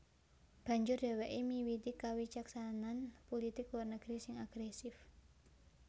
Banjur dhèwèké miwiti kawicaksanan pulitik luar negeri sing agrèsif